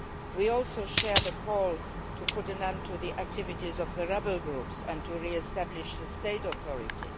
We also share the call to put an end to the activities of the rebel groups and to re establish the state authority.